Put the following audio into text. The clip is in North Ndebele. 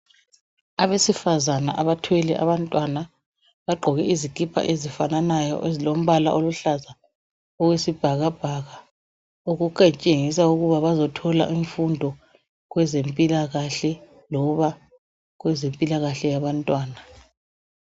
abesifazana abathwele abantwana bagqoke izikipa ezifananayo ezilompala oluhlaza owesibhakabhaka okutshengisa ukuba bazothola imfundo kwezempilakahle noba kwezempilakahle yabantwana